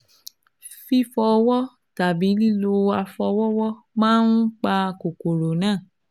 Fífọ ọwọ́ tàbí lílo afọwọ́wọ́ máa ń pa kòkòrò náà